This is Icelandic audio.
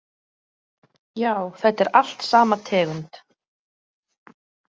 Já, þetta er allt sama tegund.